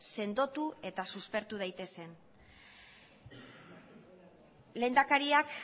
sendotu eta suspertu daitezen lehendakariak